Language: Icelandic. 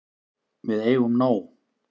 Við eigum nóg.